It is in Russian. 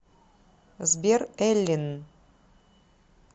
сбер эллин